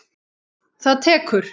Það tekur